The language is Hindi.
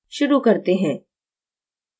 शुरू करते हैं